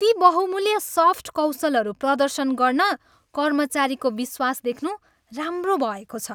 ती बहुमूल्य सफ्ट कौशलहरू प्रदर्शन गर्न कर्मचारीको विश्वास देख्नु राम्रो भएको छ।